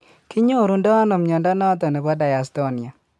ki nyoru ndo ano mnyondo noton nebo dystonia ?